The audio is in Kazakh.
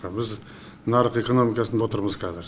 біз нарық экономикасында отырмыз қазір